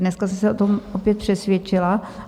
Dneska jsem se o tom opět přesvědčila.